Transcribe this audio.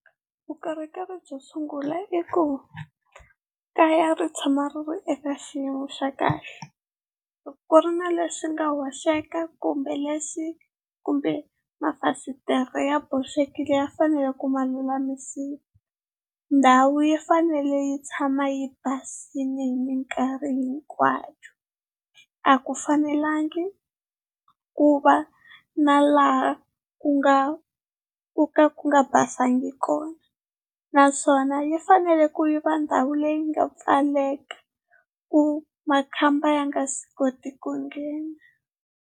Vukorhokeri byo sungula i ku kaya ri tshama ri ri eka xiyimo xa kahle loko ku ri na lexi nga hoxeka kumbe lexi, kumbe mafasitere ya boxekile ya fanele ku ma lulamisiwa ndhawu yi fanele yi tshama yi basile hi mikarhi hinkwayo. A ku fanelangi ku va na laha ku nga ku ka ku nga basangi kona, naswona yi fanele ku yi va ndhawu leyi nga pfaleka ku makhamba ya nga swi koti ku nghena.